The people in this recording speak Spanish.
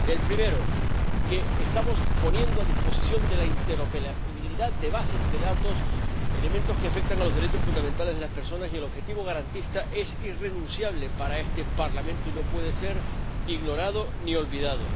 El primero, que estamos poniendo a disposición de la interoperabilidad de las bases de datos elementos que afectan a los derechos fundamentales de las personas, y el objetivo garantista es irrenunciable para este Parlamento y no puede ser ignorado ni olvidado.